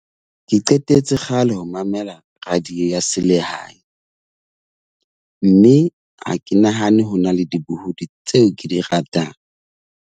Ke qetetse kgale ho mamela radio ya selehae, mme ha ke nahane ho na le dibohudi tseo ke di ratang.